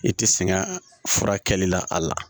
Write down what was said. I tɛ sɛgɛn furakɛli la a la